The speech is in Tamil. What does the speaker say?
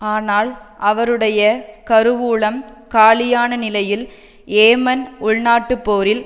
ஆனால் அவருடைய கருவூலம் காலியான நிலையில் யேமன் உள்நாட்டுப்போரில்